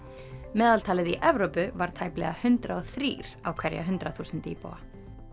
meðaltalið í Evrópu var tæplega hundrað og þrír á hverja hundrað þúsund íbúa